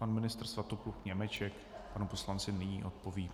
Pan ministr Svatopluk Němeček panu poslanci nyní odpoví.